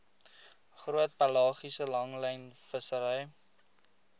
groot pelagiese langlynvissery